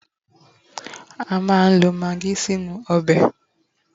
a ma n lo magi sí inú obe